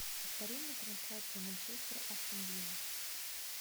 повтори мне трансляцию манчестер астон вилла